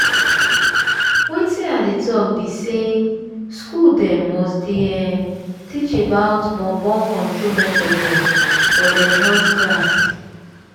wetin i dey talk be saying school dem must dey huhh teach about born born control method dem for dem health class.